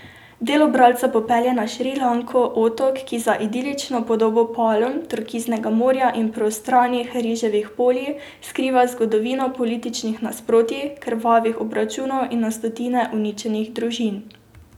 Delo bralca popelje na Šrilanko, otok, ki za idilično podobo palm, turkiznega morja in prostranih riževih polj skriva zgodovino političnih nasprotij, krvavih obračunov in na stotine uničenih družin.